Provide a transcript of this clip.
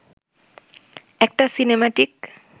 একটা সিনেমাটিক